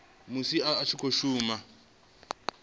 musi a tshi khou shuma